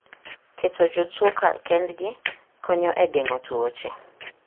Keto jotuo kar kendgi konyo e geng'o tuoche.